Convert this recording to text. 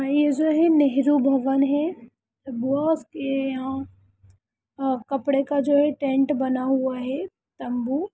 यह जो है नेहरू भवन है| बास के यहाँ अ कपड़े का जो हैं टेंट बना हुआ हैं तम्बू --